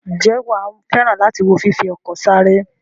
Ǹjẹ́ wà á fẹ́ràn láti wo fífi ọkọ̀ sáré?